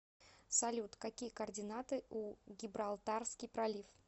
салют какие координаты у гибралтарский пролив